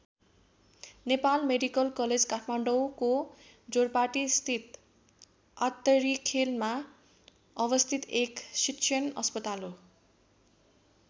Nepal medical college काठमाडौँको जोरपाटीस्थित आत्तरीखेलमा अवस्थित एक शिक्षण अस्पताल हो।